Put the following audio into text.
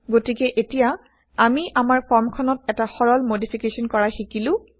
গতিকে এতিয়া আমি আমাৰ ফৰ্মখনত এটা সৰল মডিফিকেশ্যন কৰা শিকিলো